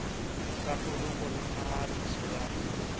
sa poloko le phahamiso ya